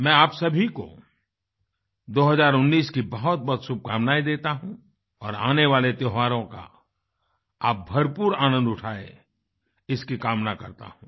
मैं आप सभी को 2019 की बहुतबहुत शुभकामनाएँ देता हूँ और आने वाले त्योहारों का आप भरपूर आनन्द उठाएँ इसकी कामना करता हूँ